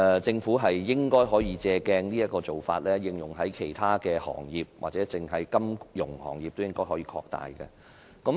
政府應該可以借鑒這個做法，應用在其他行業，或者擴大在金融業的應用。